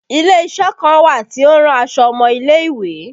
Ile isẹ kan wà tí ó ń rán aṣọ ọmọ ilé ìwé